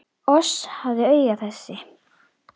Oss hafa augun þessi